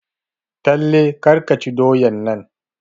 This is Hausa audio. Talle kar ka ci doyan nan!